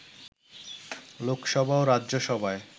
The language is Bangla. লোকসভা ও রাজ্যসভায়